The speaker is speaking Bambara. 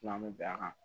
N'an bɛ bɛn a kan